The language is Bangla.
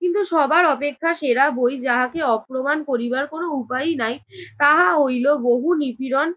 কিন্তু সবার অপেক্ষা সেরা বই যাহাকে অপ্রমাণ করিবার কোনো উপায়ই নাই, তাহা হইল বহু নিপীড়ন